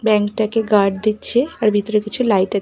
ব্যাংকটাকে guard দিচ্ছে আর ভিতরে কিছু লাইট এক--